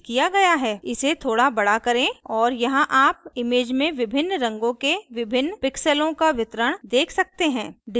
इसे थोड़ा बड़ा करें और यहाँ आप image में विभिन्न रंगों के विभिन्न pixels का वितरण देख सकते हैं